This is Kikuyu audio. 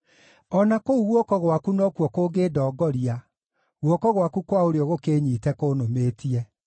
o na kũu guoko gwakwa nokuo kũngĩndongoria, guoko gwaku kwa ũrĩo gũkĩĩnyiite kũnũmĩtie.